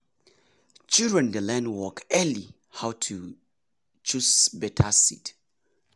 children dey learn early how to choose better seed.